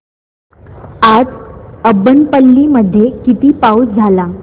आज अब्बनपल्ली मध्ये किती पाऊस झाला